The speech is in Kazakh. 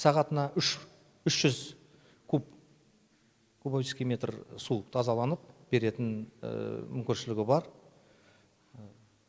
сағатына үш жүз кубический метр су тазаланып беретін мүмкіншілігі бар